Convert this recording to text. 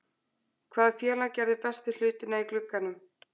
Hvaða félag gerði bestu hlutina í glugganum?